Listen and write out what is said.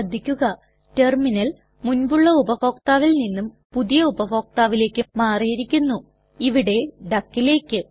ശ്രദ്ധിക്കുക ടെർമിനൽ മുൻപുള്ള ഉപഭോക്താവിൽ നിന്നും പുതിയ ഉപഭോക്താവിലേക്ക് മാറിയിരിക്കുന്നു ഇവിടെ duckലേക്ക്